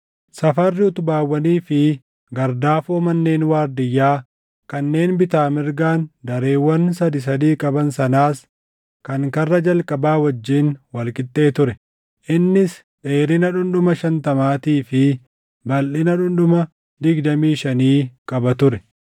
Safarri utubaawwanii fi gardaafoo manneen waardiyyaa kanneen bitaa mirgaan dareewwan sadii sadii qaban sanaas kan karra jalqabaa wajjin wal qixxee ture. Innis dheerina dhundhuma shantamaatii fi balʼina dhundhuma digdamii shanii qaba ture.